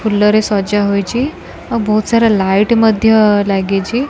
ଫୁଲ ରେ ସଜା ହେଇଛି ଆଉ ବହୁତ୍ ସାରା ଲାଇଟ୍ ମଧ୍ୟ ଲାଗିଛି।